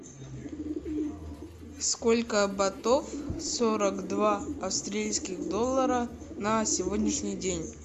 сколько батов сорок два австралийских доллара на сегодняшний день